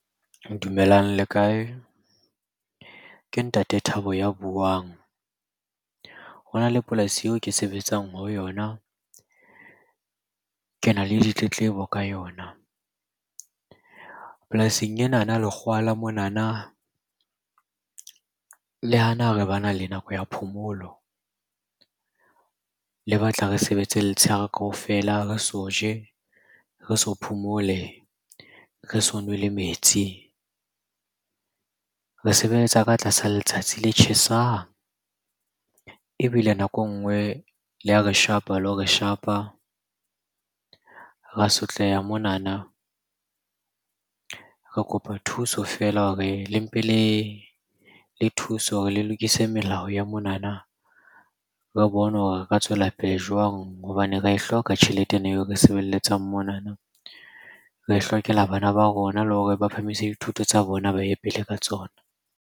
Dumelang, le kae? Ke Ntate Thabo ya buang. Ho na le polasi eo ke sebetsang ho yona, ke na le ditletlebo ka yona. Polasing enana, lekgowa la monana le hana ha re bana le nako ya phomolo. Le batla re sebetse letshehare kaofela re so je, re so phomole, re so nwe le metsi. Re sebetsa ka tlasa letsatsi le tjhesang, ebile nako e nngwe le a re shapa le ho re shapa. Ra sotleha monana. Re kopa thuso feela hore le mpe le thuse hore le lokise melao ya monana. Re bone hore re ka tswelapele jwang hobane re ae hloka tjhelete ena eo re e sebeletsang monana. Re e hlokela bana ba rona le hore ba phahamise dithuto tsa bona ba ye pele ka tsona.